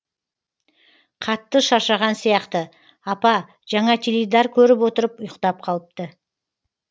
қатты шаршаған сияқты апа жаңа теледидар көріп отырып ұйықтап қалыпты